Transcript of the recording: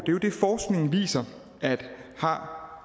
jo det forskningen viser har